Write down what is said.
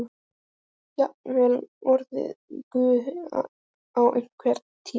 Jafnvel orðið guð á einhverri tíð.